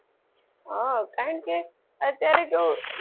હા કારણ કે અત્યારે કેવું,